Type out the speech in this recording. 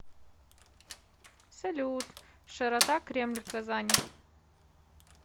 салют широта кремль казани